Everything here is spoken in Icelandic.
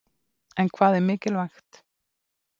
En hvað er mikilvægt?